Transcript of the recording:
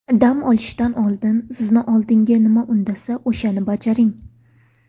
Dam olishdan oldin, sizni oldinga nima undasa, o‘shani bajaring.